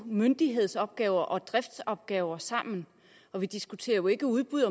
myndighedsopgaver og driftsopgaver sammen vi diskuterer jo ikke udbud